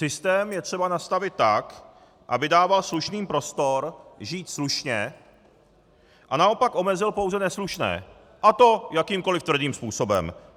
Systém je třeba nastavit tak, aby dával slušným prostor žít slušně a naopak omezil pouze neslušné, a to jakýmkoliv tvrdým způsobem.